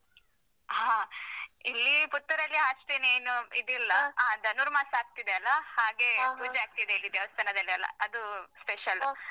ಹ ಇಲ್ಲಿ ಪುತ್ತೂರಲ್ಲಿ ಅಷ್ಟೆನ್ ಏನು ಇದಿಲ್ಲ. ಧನುರ್ಮಾಸ ಆಗ್ತಿದೆ ಅಲಾ, ಹಾಗೆ ಪೂಜೆ ಆಗ್ತಿದೆ ಇಲ್ಲಿ ದೇವಸ್ಥಾನದಲ್ಲಿಯೆಲ್ಲಾ. ಅದು special .